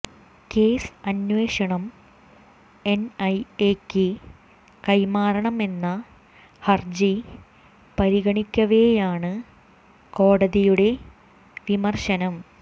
case അന്വേഷണം എൻഐഎക്ക് കൈമാറണം എന്ന ഹർജി പരിഗണിക്കവേയാണ് കോടതിയുടെ വിമർശനം